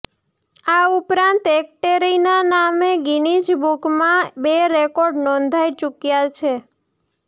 આ ઉપરાંત એકેટેરિનાના નામે ગિનીજ બુકમાં પણ બે રેકોર્ડ નોંધાઈ ચૂક્યા છે